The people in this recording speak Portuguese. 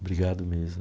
Obrigado mesmo.